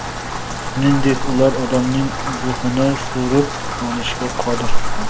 Shuningdek, ular odamning ruhini so‘rib olishga qodir.